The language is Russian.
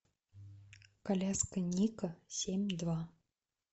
коляска ника семь два